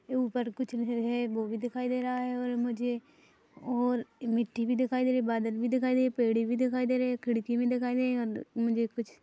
ऊपर कुछ है वो भी दिखाई दे रहा है और मुझे और मिट्टी भी दिखाई दे रहे बादल भी दिखाई दिए पेड़े भी दिखाई दे रहे है खिड़की भी दिखाई दे रही और मुझे कुछ --